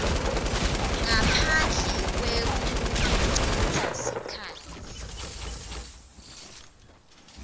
ngaphandle kwekucitsa sikhatsi